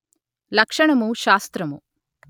లక్షణము శాస్త్రము